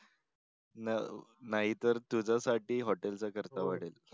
नं नाही तर तुझ्यासाठी होटल चा खर्च वाढेल.